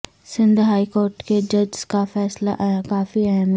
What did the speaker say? Sindh high court کے ججز کا فیصلہ کافی اہم ہے